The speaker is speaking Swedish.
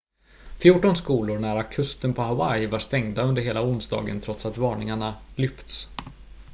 fjorton skolor nära kusten på hawaii var stängda under hela onsdagen trots att varningarna lyfts